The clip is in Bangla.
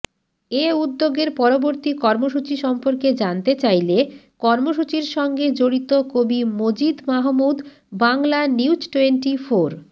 এ উদ্যোগের পরবর্তী কর্মসূচি সম্পর্কে জানতে চাইলে কর্মসূচির সঙ্গে জড়িত কবি মজিদ মাহমুদ বাংলানিউজটোয়েন্টিফোর